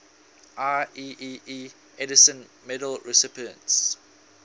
ieee edison medal recipients